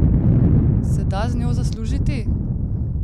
Se da z njo zaslužiti?